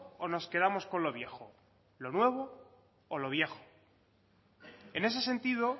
o nos quedamos con lo viejo lo nuevo o lo viejo en ese sentido